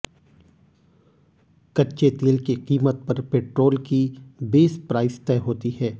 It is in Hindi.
कच्चे तेल की कीमत पर पेट्रोल की बेस प्राइस तय होती है